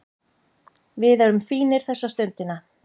Við erum fínir þessa stundina